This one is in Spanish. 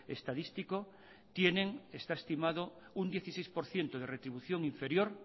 estadístico tienen está estimado un dieciséis por ciento de retribución inferior